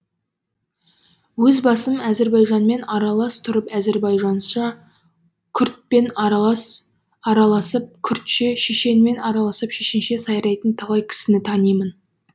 өз басым әзірбайжанмен аралас тұрып әзірбайжанша күрдтпен араласып күрдше шешенмен араласып шешенше сайрайтын талай кісіні танимын